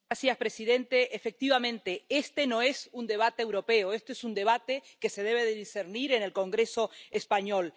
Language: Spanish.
Señor presidente, efectivamente, este no es un debate europeo, este es un debate que se debe discernir en el Congreso español.